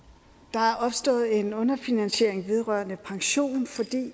der er opstået en underfinansiering vedrørende pension fordi den